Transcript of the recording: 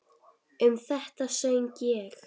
Um þetta söng ég